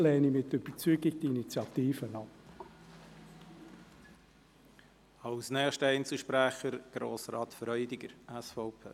Deshalb lehne ich diese Initiative mit Überzeugung ab.